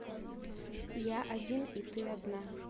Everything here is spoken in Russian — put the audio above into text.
я один и ты одна